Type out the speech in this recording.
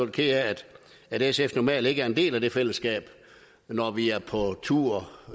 ked af at sf normalt ikke er en del af det fællesskab hvor vi er på tur